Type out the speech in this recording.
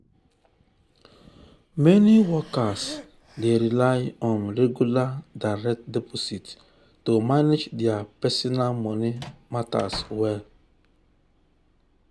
meni workers dey rely on regular direct deposits to manage dia personal moni matters well.